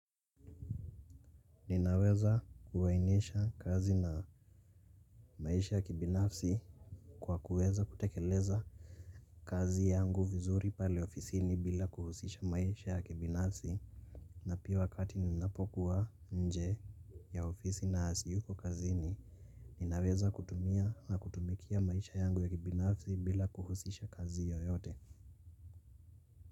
Ninaweza kuainisha kazi na maisha ya kibinafsi kwa kuweza kutekeleza kazi yangu vizuri pale ofisini bila kuhusisha maisha ya kibinafsi. Na pia wakati ninapokuwa nje ya ofisi na siyuko kazi ni ninaweza kutumia na kutumikia maisha yangu ya kibinafsi bila kuhusisha kazi yoyote.